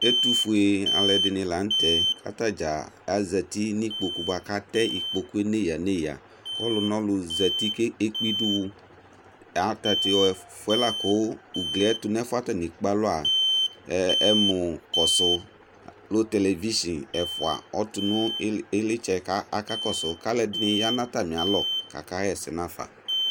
ɛtufué dini la tɛ ka ta dza azɛti ni ikpokpo bua ka tɛ ikpokpo néya néya ƙɔnunɔlu zɛti ké kpé idu wu tatɛ foɛ ku uglié tu nɛ ɛfoɛ atani ékpé alua ɛmu kɔsu télévichin ɛfoa ɔtu nu ilitsɛ ka akakɔsu ka alu ɛdini ya na atamialɔ ka ka yɛsɛ nafă